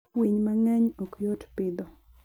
Winy mang'eny ok yot pidho.